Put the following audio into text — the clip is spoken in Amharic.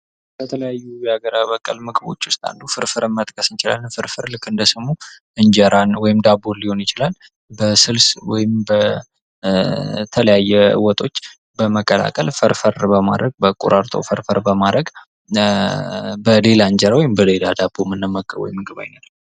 ከተለያዩ ሀገር በቀል ምግቦች ውስጥ ፍርፍርን መጥቀስ እንችላለን ፍርፍር ልክ እንደስሙ እንጀራን ወይም ዳቦን ሊሆን ይችላል በስልስ ወይንም በተለያየ ወጦች በመቀላቀል ፈርፈር በማድረግ ቆራርጦ ፍርፍር በማድረግ በሌላ ዳቦ ወይንም በሌላ እንጀራ የምንጠቀመው የምግብ አይነት ነው።